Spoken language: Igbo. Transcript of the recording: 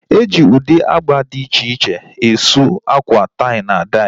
E ji ụdị agba dị iche iche e suu akwa tai na dai